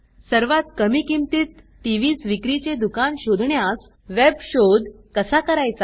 सर्वात कमी किंमतीत टीव्हीस विक्री चे दुकान शोधण्यास वेब शोध कसा करायचा